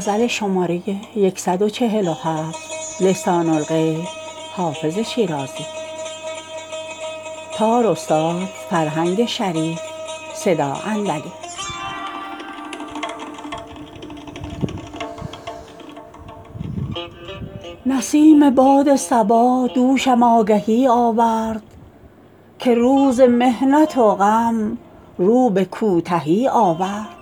برید باد صبا دوشم آگهی آورد که روز محنت و غم رو به کوتهی آورد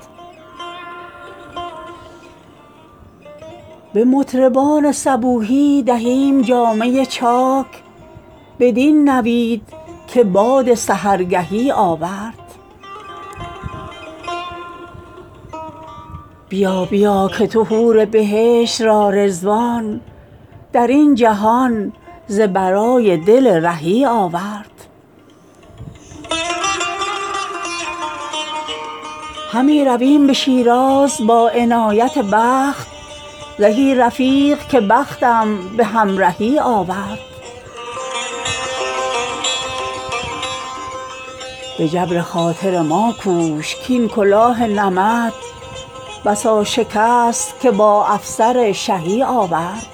به مطربان صبوحی دهیم جامه چاک بدین نوید که باد سحرگهی آورد بیا بیا که تو حور بهشت را رضوان در این جهان ز برای دل رهی آورد همی رویم به شیراز با عنایت دوست زهی رفیق که بختم به همرهی آورد به جبر خاطر ما کوش کـ این کلاه نمد بسا شکست که با افسر شهی آورد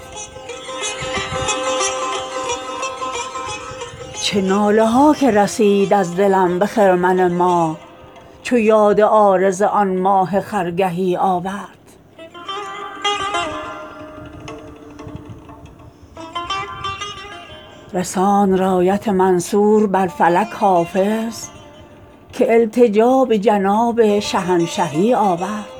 چه ناله ها که رسید از دلم به خرمن ماه چو یاد عارض آن ماه خرگهی آورد رساند رایت منصور بر فلک حافظ که التجا به جناب شهنشهی آورد